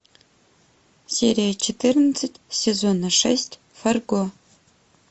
серия четырнадцать сезона шесть фарго